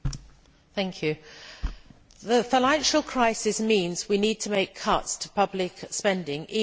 Mr President, the financial crisis means we need to make cuts to public spending even in the area of defence.